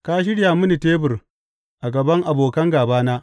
Ka shirya mini tebur a gaban abokan gābana.